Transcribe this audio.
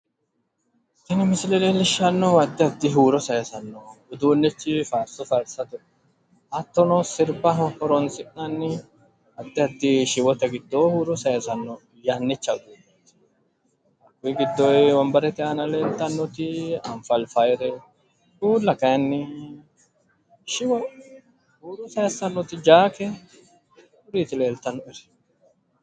Tini misile leelishanohu addi addi huuro sayisano muziiqati uduunichi hattono faarsonna sirbano sayisano yannate uduunichoti hattono huuro sayisanoti apharipahare hattono uulla zakete leelittanni nooeti